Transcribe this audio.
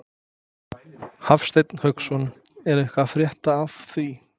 Hafsteinn Hauksson: Er eitthvað að frétta af því?